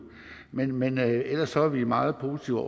men men ellers er vi meget positive